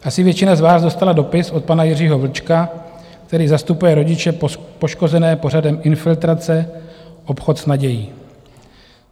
Asi většina z vás dostala dopis od pana Jiřího Vlčka, který zastupuje rodiče poškozené pořadem Infiltrace: Obchod s nadějí.